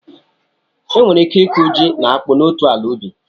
E nwere ike ịkụ ji na akpu n'otu ala ubi.